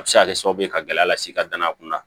A bɛ se ka kɛ sababu ye ka gɛlɛya las'i ka danaya kunda